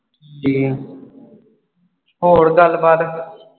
ਹੋਰ ਗੱਲ ਬਾਤ।